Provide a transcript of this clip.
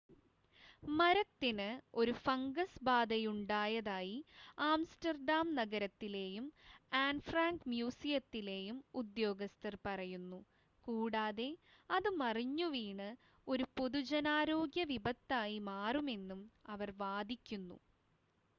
മരത്തിന് ഒരു ഫംഗസ് ബാധയുണ്ടായതായി ആംസ്റ്റർഡാം നഗരത്തിലെയും ആൻ ഫ്രാങ്ക് മ്യൂസിയത്തിലെയും ഉദ്യോഗസ്ഥർ പറയുന്നു കൂടാതെ അത് മറിഞ്ഞുവീണ് ഒരു പൊതുജനാരോഗ്യ വിപത്തായി മാറുമെന്നും അവർ വാദിക്കുന്നു